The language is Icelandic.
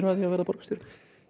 að því að verða borgarstjóri